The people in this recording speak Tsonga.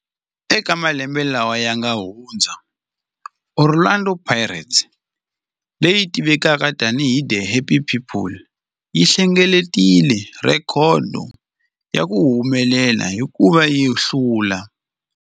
Eka malembe lawa yanga hundza, Orlando Pirates, leyi tivekaka tani hi 'The Happy People', yi hlengeletile rhekhodo ya ku humelela hikuva yi hlule.